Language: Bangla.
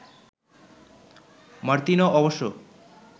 মার্তিনো অবশ্য